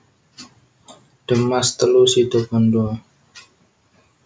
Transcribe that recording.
De Maas telu Situbondo